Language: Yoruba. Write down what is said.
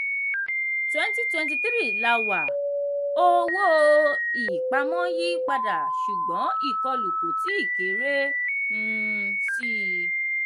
twenty twenty three la wà owó-ìpamọ́ ń yí padà ṣùgbọ́n ìkọlù kò tíì kéré um síi.